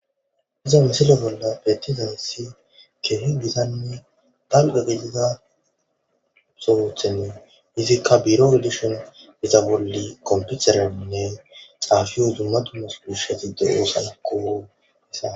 Iza misilo bolla bettizahssi kehi gizani talgagegida sowothen izikka biro odishon iza bolli komputerainne xaafi huzumma tummas dushezi deuusaakko isa.